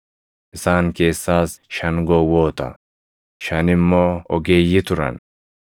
Isaan keessaas shan gowwoota, shan immoo ogeeyyii turan.